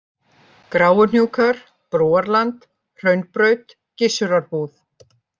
Gráuhnjúkar, Brúarland, Hraunbraut, Gissurarbúð